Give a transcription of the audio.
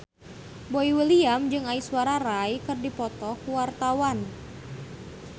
Boy William jeung Aishwarya Rai keur dipoto ku wartawan